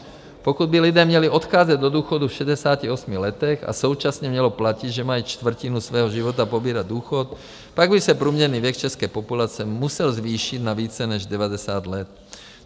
Pokud by lidé měli odcházet do důchodu v 68 letech a současně mělo platit, že mají čtvrtinu svého života pobírat důchod, pak by se průměrný věk české populace musel zvýšit na více než 90 let.